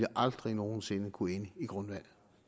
aldrig nogen sinde ville kunne ende i grundvandet